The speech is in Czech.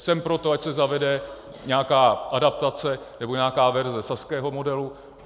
Jsem pro to, ať se zavede nějaká adaptace, nebo nějaká verze saského modelu.